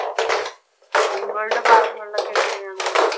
നിങ്ങളുടെ ഭാഗങ്ങളിലൊക്കെ എങ്ങനെയാണ്?